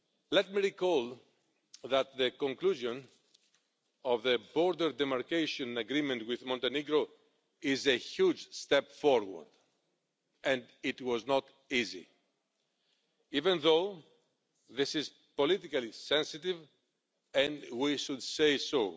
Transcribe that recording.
Let me recall that the conclusion of the border demarcation agreement with Montenegro is a huge step forward, and it was not easy, even though this is politically sensitive, and we should say so.